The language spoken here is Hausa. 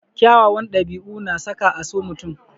Kyawawan ɗabi'u na saka a so mutum.